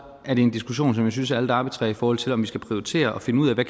er en diskussion som jeg synes er lidt arbitrær i forhold til om vi skal prioritere og finde ud af hvad